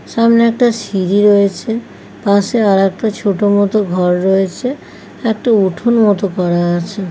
সামনে একটা সিঁড়ি রয়েছে পাশে আর একটা ছোট মতো ঘর রয়েছে একটা উঠোন মত করা আছে ।